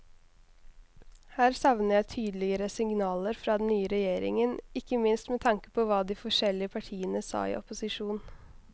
Her savner jeg tydeligere signaler fra den nye regjeringen, ikke minst med tanke på hva de forskjellige partiene sa i opposisjon.